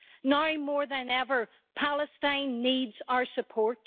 Now more than ever, Palestine needs our support.